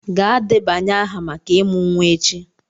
Gaa debanye aha maka ịmụ nwa echi!